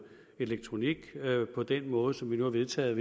elektronik på den måde som vi nu har vedtaget